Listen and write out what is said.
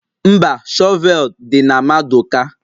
Mba, shọvel dị na maduka